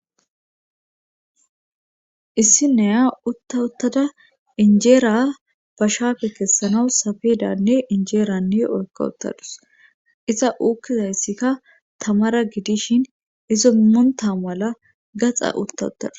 issi naaya utta uttada injeera bashaaefe kessanawu safedanne injeeranne oykka uttadus iza uukkizayssikka tamara gidishin izo monta mala gaxa utta uttadus